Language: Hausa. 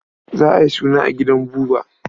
Za a yi suna a gidan Buba.